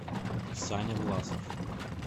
саня власов